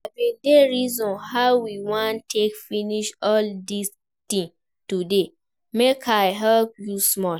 I bin dey reason how you wan take finish all dis things today, make I help you small